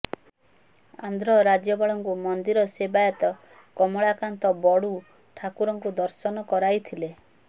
ଆନ୍ଧ୍ର ରାଜ୍ୟପାଳଙ୍କୁ ମନ୍ଦିର ସେବାୟତ କମଳାକାନ୍ତ ବଡୁ ଠାକୁରଙ୍କୁ ଦର୍ଶନ କରାଇଥିଲେ